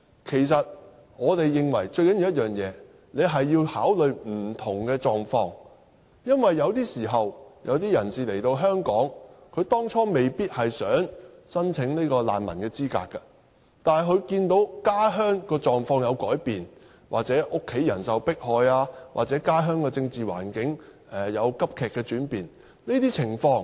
其實，我們認為最重要的一點，是要考慮不同的狀況，因為有些人當初來到香港時是未必想申請難民資格的，但後來卻看到家鄉的狀況有改變，又或是家人受迫害、家鄉政治環境急劇轉變等。